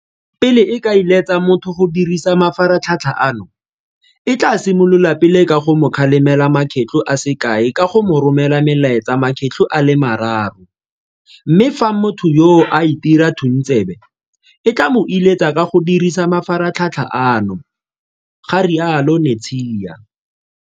Pele e ka iletsa motho go dirisa mafaratlhatl ha ano, e tla simolola pele ka go mo kgalemela makgetlo a se kae ka go mo romela melaetsa makgetlo a le mararo, mme fa motho yoo a itira thuntsebe, e tla mo iletsa go ka dirisa mafaratlhatlha ano, ga rialo Netshiya.